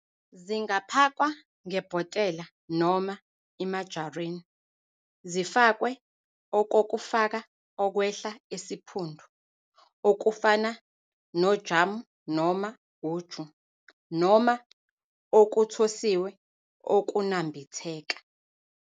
Zingaphakwa ngebhotela noma imajarini, zifakwe okokufaka okwehla esiphundu, okufana nojamu noma uju, noma okuthosiwe okunambitheka,.